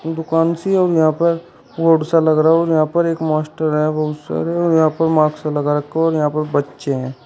दुकान सी और यहां पर बोर्ड सा लग रहा और यहां पर एक मास्टर है बहुत सारे और यहां पर मास्क लगा रखा है और यहां पर बच्चे हैं।